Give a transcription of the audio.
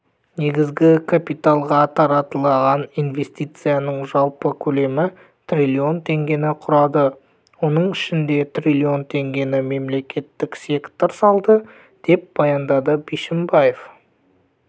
негізгі капиталға тартылған инвестицияның жалпы көлемі триллион теңгені құрады оның ішінде триллион теңгені мемлекеттік сектор салды деп баяндады бишімбаев